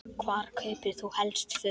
Hvar kaupir þú helst föt?